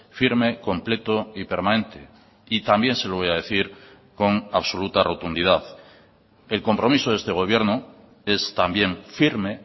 firme completo y permanente y también se lo voy a decir con absoluta rotundidad el compromiso de este gobierno es también firme